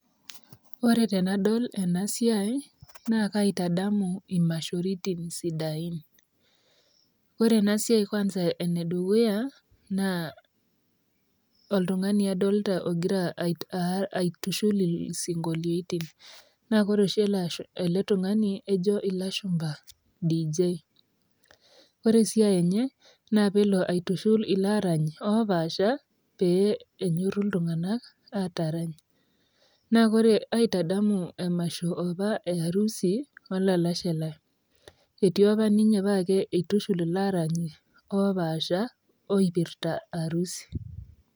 Ore tenadol ena siai naa kaatadamu imashoritin sidain. Ore ena siai kwansa ene dukuya; naa oltungani adoolta ogira aitushul isingoliotin, naa ore oshi ele tungani ejo ilashumba Dj Ore esiai enye naa peelo aitushula ilaarany oo paasha pee enyoru iltunganak atarany naa aaitadamu emasho apa earusi olalashe Lai etii apa ninye paa eitushul ilaarany opaasha oipirta arusi.